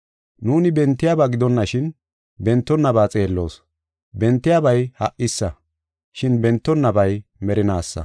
Nuuni bentiyaba gidonashin, bentonnaba xeelloos. Bentiyabay ha77isa, shin bentonnabay merinaasa.